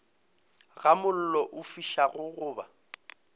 ga mollo o fišago goba